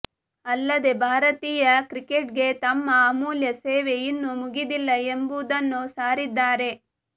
ಅಲ್ಲದೆ ಭಾರತೀಯ ಕ್ರಿಕೆಟ್ಗೆ ತಮ್ಮ ಅಮೂಲ್ಯ ಸೇವೆ ಇನ್ನು ಮುಗಿದಿಲ್ಲ ಎಂಬುದನ್ನು ಸಾರಿದ್ದಾರೆ